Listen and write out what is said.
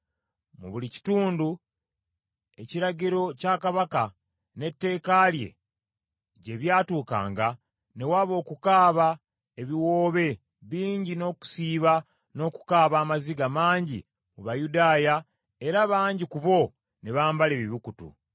Mu buli kitundu ekiragiro kya Kabaka n’etteeka lye gye byatuukanga ne waba okukuba ebiwoobe bingi n’okusiiba n’okukaaba amaziga mangi mu Bayudaaya era bangi ku bo ne bambala ebibukutu.